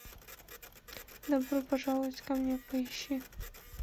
добро пожаловать ко мне поищи